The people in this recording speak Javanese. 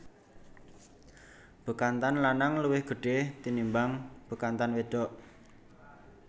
Bekantan lanang luwih gedhe tinimbang bekantan wedok